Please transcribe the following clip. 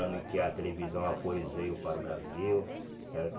Ano em que a televisão a cores veio para o Brasil, certo?